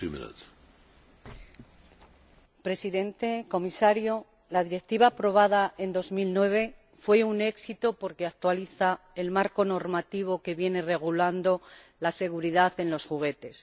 Señor Presidente, señor Comisario, la Directiva aprobada en 2009 fue un éxito porque actualiza el marco normativo que viene regulando la seguridad de los juguetes.